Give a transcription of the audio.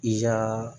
I ka